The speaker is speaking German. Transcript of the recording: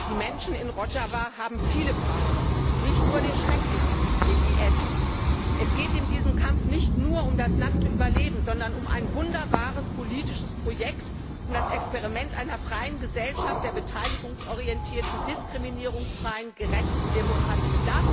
Herr Präsident! Die Menschen in Rodschawa haben viele Feinde, nicht nur den schrecklichsten, den IS. Es geht in diesem Kampf nicht nur um das nackte Überleben, sondern um ein wunderbares politisches Projekt, um das Experiment einer freien Gesellschaft, der beteiligungsorientierten, diskriminierungsfreien, gerechten Demokratie.